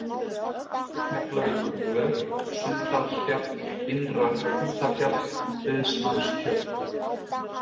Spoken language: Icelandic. Keflavíkurvör, Sunndalsfjall, Innra-Hrútafjall, Dauðsmannstjörn